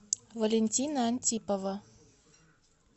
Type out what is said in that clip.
валентина антипова